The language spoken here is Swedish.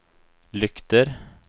lyktor